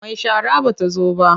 Mai shara ba ta zo ba.